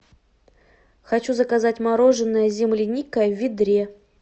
хочу заказать мороженое земляника в ведре